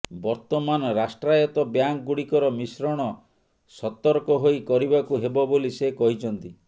ବର୍ତ୍ତମାନ ରାଷ୍ଟ୍ରାୟତ୍ତ ବ୍ୟାଙ୍କଗୁଡ଼ିକର ମିଶ୍ରଣ ସତର୍କ ହୋଇ କରିବାକୁ ହେବ ବୋଲି ସେ କହିଛନ୍ତି